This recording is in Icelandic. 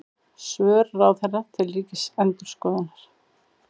Svör ráðherra til Ríkisendurskoðunar